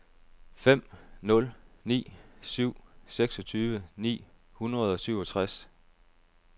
fem nul ni syv seksogtyve ni hundrede og syvogtres